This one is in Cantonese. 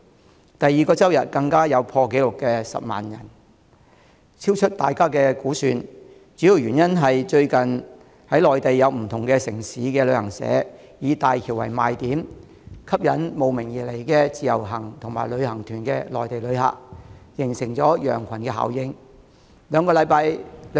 在第二個周日更有破紀錄的10萬多人，超出大家的估算，主要原因是最近在內地不同城市的旅行社都以大橋為賣點，吸引慕名而來的自由行及旅行團的內地旅客，形成羊群效應。